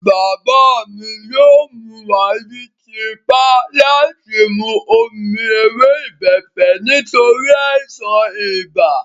Bàbá mi yóò mú wa ní tipá láti mú omi ewé ìbẹ́pẹ nítorí àìsàn ibà